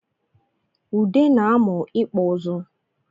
Ude na-amụ ịkpụ ịzụ